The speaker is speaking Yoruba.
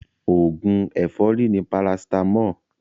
Oògùn ẹ̀fọ́rì ni paracetamol